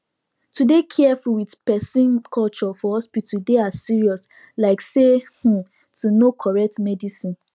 to dey careful with persona culture for hospital dey as serious like say um to know correct medicine